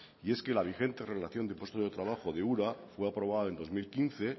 y es que la vigente relación de puestos de trabajo de ura fue aprobada en dos mil quince